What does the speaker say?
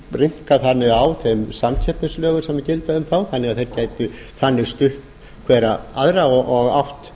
og rýmkað þannig á þeim samkeppnislögum sem gilda um þá þannig að þeir gætu þannig stutt hverjir aðra og átt